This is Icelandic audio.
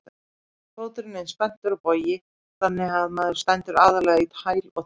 Fóturinn er eins og spenntur bogi þannig að maður stendur aðallega í hæl og tær.